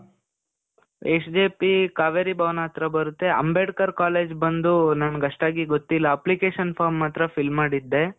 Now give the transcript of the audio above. SJP Kaveri Bhavan ಹತ್ರ ಬರುತ್ತೆ, Ambedkar college ಬಂದೂ, ನನಿಗ್ ಅಷ್ಟಾಗಿ ಗೊತ್ತಿಲ್ಲ. application form ಮಾತ್ರ fill ಮಾಡಿದ್ದೇ.